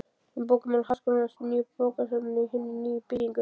Um bókamál Háskólans og bókasafn í hinni nýju byggingu.